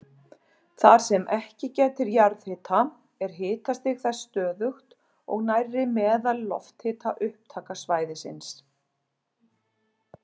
Þar sem ekki gætir jarðhita er hitastig þess stöðugt og nærri meðal-lofthita upptakasvæðisins.